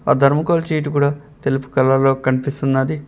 Thermocol sheet కూడా తెలుపు colour లో కనిపిస్తున్నది.